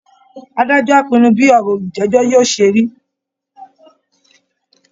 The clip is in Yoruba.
Adájọ́ á pinnu bí ọ̀rọ̀ olùjẹ́jọ́ yóò ṣe rí